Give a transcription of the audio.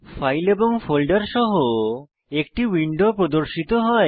file এবং folder সহ একটি উইন্ডো প্রর্দশিত হয়